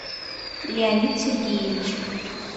леонид сергеевич